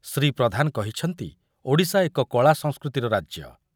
ଶ୍ରୀ ପ୍ରଧାନ କହିଛନ୍ତି ଓଡ଼ିଶା ଏକ କଳା ସଂସ୍କୃତିର ରାଜ୍ୟ।